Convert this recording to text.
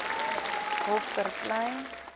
hof vir klein